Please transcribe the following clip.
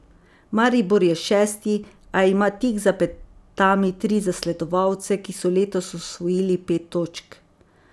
Maribor je šesti, a ima tik za petami tri zasledovalce, ki so letos osvojili pet točk.